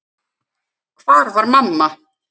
Hvar var mamma?